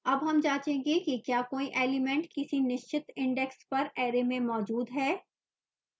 अब हम जाँचेंगे कि क्या कोई element किसी निश्चित index पर array में मौजूद है